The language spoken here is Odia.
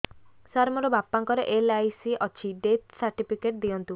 ସାର ମୋର ବାପା ଙ୍କର ଏଲ.ଆଇ.ସି ଅଛି ଡେଥ ସର୍ଟିଫିକେଟ ଦିଅନ୍ତୁ